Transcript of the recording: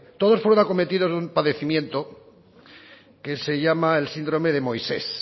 todos fueron acometidos de un padecimiento que se llama el síndrome de moisés